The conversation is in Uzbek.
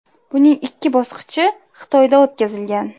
Buning ikki bosqichi Xitoyda o‘tkazilgan.